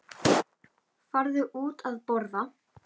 Farðu út að borða.